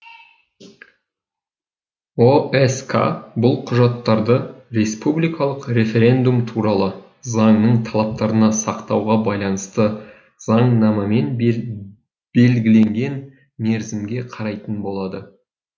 оск бұл құжаттарды республикалық референдум туралы заңның талаптарына сақтауға байланысты заңнамамен белгіленген мерзімге қарайтын болады